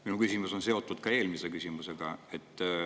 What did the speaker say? Minu küsimus on seotud eelmise küsimusega.